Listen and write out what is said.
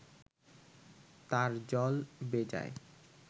তার জল বেজায়